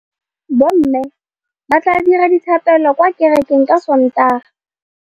Bommê ba tla dira dithapêlô kwa kerekeng ka Sontaga.